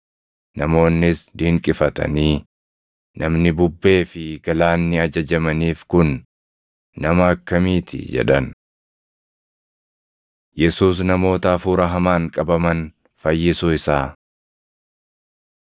Namoonnis dinqifatanii, “Namni bubbee fi galaanni ajajamaniif kun nama akkamii ti?” jedhan. Yesuus Namoota Hafuura Hamaan Qabaman Fayyisuu Isaa 8:28‑34 kwf – Mar 5:1‑17; Luq 8:26‑37